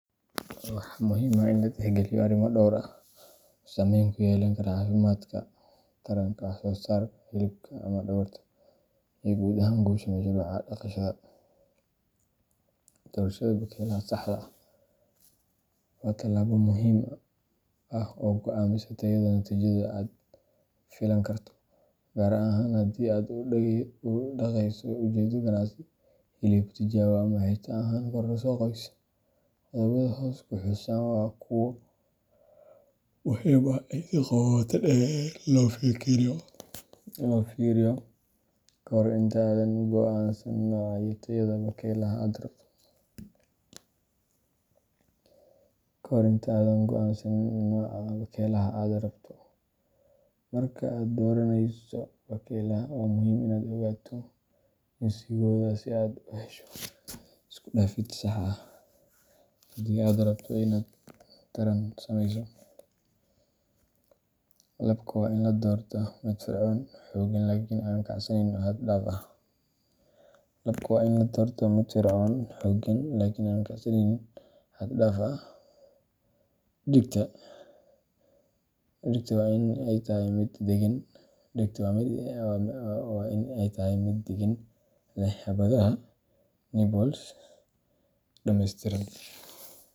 Waxaa muhiim ah in la tixgeliyo arrimo dhowr ah oo saamayn ku yeelan kara caafimaadka, taranka, wax-soo-saarka hilibka ama dhogorta, iyo guud ahaan guusha mashruuca dhaqashada. Doorashada bakaylaha saxda ah waa tallaabo muhiim ah oo go’aamisa tayada natiijada aad filan karto, gaar ahaan haddii aad u dhaqayso ujeeddo ganacsi, hilib, tijaabo, ama xitaa ahaan kororso qoys. Qodobbada hoos ku xusan waa kuwo muhiim ah in si qoto dheer loo fiiriyo ka hor inta aadan go’aansan nooca iyo tayada bakaylaha aad rabto. Marka aad dooranayso bakaylaha, waa muhiim inaad ogaato jinsigooda si aad u hesho isku-dhafid sax ah haddii aad rabto inaad taran sameyso. Labka waa in la doortaa mid firfircoon, xooggan, laakiin aan kacsaneyn xad-dhaaf ah. Dhedigta waa in ay tahay mid deggan, leh xabadaha nipples dhammeystiran.